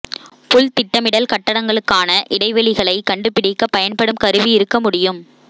புல் திட்டமிடல் கட்டடங்களுக்கான இடைவெளிகளைக் கண்டுபிடிக்க பயன்படும் கருவி இருக்க முடியும்